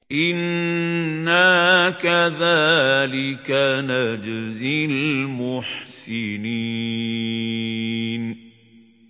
إِنَّا كَذَٰلِكَ نَجْزِي الْمُحْسِنِينَ